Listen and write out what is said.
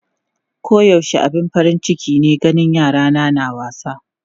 Koyaushe abin farin ciki ne ganin yarana na wasa.